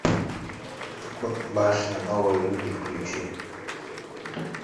башня новые люди включи